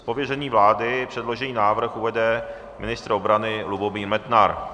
Z pověření vlády předložený návrh uvede ministr obrany Lubomír Metnar.